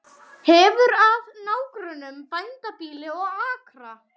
Hefur að nágrönnum bændabýli og akra.